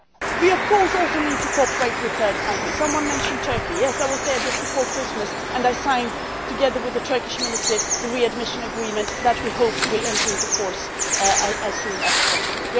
We of course also need to cooperate with third countries. Someone mentioned Turkey yes, I was there just before Christmas and I signed, together with the Turkish Minister, the readmission agreement which we hope will enter into force as soon as possible.